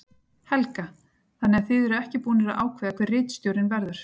Helga: Þannig að þið eruð ekki búnir að ákveða hver ritstjórinn verður?